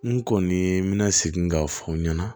N kɔni n bɛna segin k'a fɔ n ɲɛna